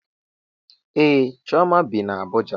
Ee chioma bi na Abuja.